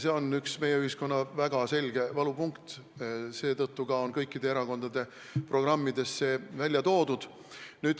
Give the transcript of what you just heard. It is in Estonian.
See on üks meie ühiskonna väga selgeid valupunkte, seetõttu on see ka kõikide erakondade programmides välja toodud.